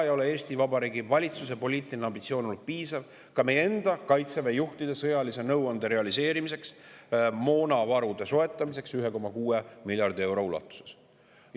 Eesti Vabariigi valitsuse poliitiline ambitsioon ei ole olnud piisav ka meie enda Kaitseväe juhtide sõjalise nõuande realiseerimiseks ehk 1,6 miljardi euro eest moonavarude soetamiseks.